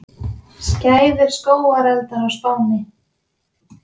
Skæðir skógareldar á Spáni